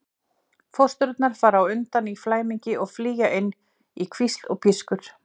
Fóstrurnar fara undan í flæmingi og flýja inn í hvísl og pískur.